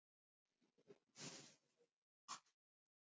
Hrund Þórsdóttir: Þannig að þeir halda áfram að græða á ykkar hönnun?